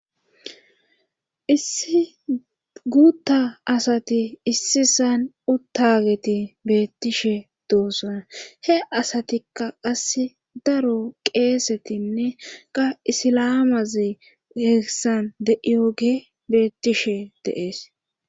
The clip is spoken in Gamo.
issi guutta asati issisan uttageti beettishe doosana he asatikka qas daro qeesetinne ga isilamazi heessan de7iyoge beettishe deees